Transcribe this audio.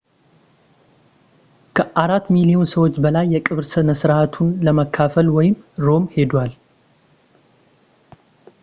ከአራት ሚሊዮን ሰዎች በላይ የቀብር ስነ ስርዓቱን ለመካፈል ወደ ሮም ሄደዋል